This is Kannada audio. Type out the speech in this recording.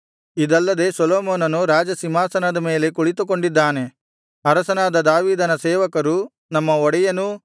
ಇದಲ್ಲದೆ ಸೊಲೊಮೋನನು ರಾಜಸಿಂಹಾಸನದ ಮೇಲೆ ಕುಳಿತುಕೊಂಡಿದ್ದಾನೆ